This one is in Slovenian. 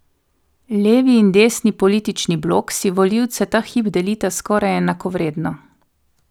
Levi in desni politični blok si volivce ta hip delita skoraj enakovredno.